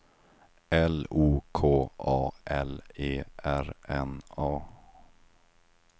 L O K A L E R N A